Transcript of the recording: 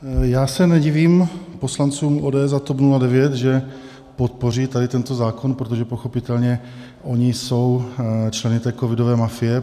Já se nedivím poslancům ODS a TOP 09, že podpoří tady tento zákon, protože pochopitelně oni jsou členy té covidové mafie.